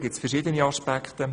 Es gibt verschiedene Aspekte.